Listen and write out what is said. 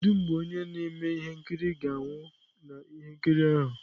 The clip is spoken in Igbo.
Kedu mgbe onye na-eme ihe nkiri ga-anwụ na ihe nkiri ahụ?